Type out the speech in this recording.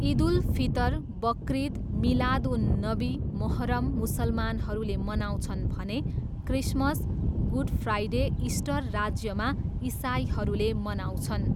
इद उल फितर, बक्रिद, मिलाद उन नबी, मोहर्रम मुसलमानहरूले मनाउँछन् भने क्रिसमस, गुड फ्राइडे, इस्टर राज्यमा इसाईहरूले मनाउँछन्।